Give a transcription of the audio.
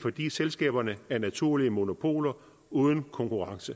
fordi selskaberne er naturlige monopoler uden konkurrence